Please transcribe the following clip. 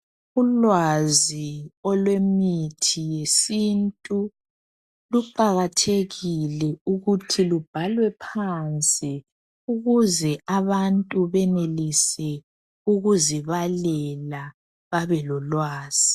Ulwazi olwemithi yesintu luqakathekile ukuthi lubhalwe phansi ukuze abantu benelise ukuzibalela babe lolwazi.